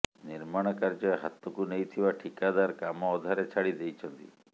ନିର୍ମାଣ କାର୍ଯ୍ୟ ହାତକୁ ନେଇଥିବା ଠିକାଦାର କାମ ଅଧାରେ ଛାଡ଼ି ଦେଇଛନ୍ତି